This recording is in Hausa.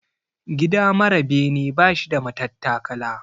Gida mara bene bashi da matattakala.